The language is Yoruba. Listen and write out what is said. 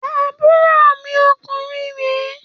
Àbúrò mi ọkùnrin re